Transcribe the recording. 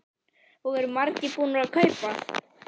Og eru margir búnir að kaupa?